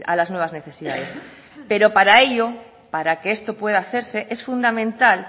las nuevas necesidades pero para ello para que esto pueda hacerse es fundamental